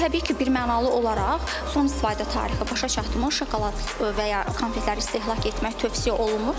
Təbii ki, birmənalı olaraq son istifadə tarixi başa çatmış şokolad və ya konfetləri istehlak etmək tövsiyə olunmur.